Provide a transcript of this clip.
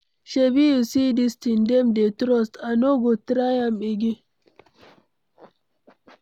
Shebi you see dis thing dem dey trust, I no go try am again.